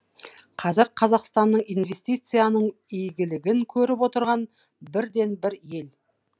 қазір қазақстан инвестицияның игілігін көріп отырған бірден бір ел